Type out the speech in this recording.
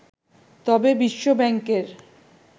তবে বিশ্বব্যাংকের